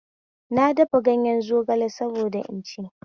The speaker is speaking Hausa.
Na dafa ganyen zogale saboda in ci